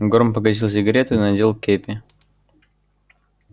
горм погасил сигарету и надел кепи